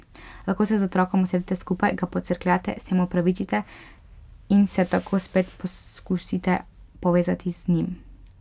Lahko se z otrokom usedete skupaj, ga pocrkljate, se mu opravičite in se tako spet poskusite povezati z njim.